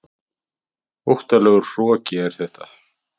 Óttalegur hroki er þetta.